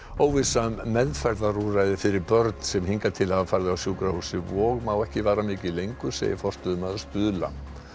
óvissa um meðferðarúrræði fyrir börn sem hingað til hafa farið á sjúkrahúsið Vog má ekki vara mikið lengur segir forstöðumaður Stuðla